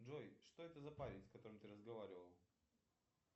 джой что это за парень с которым ты разговаривал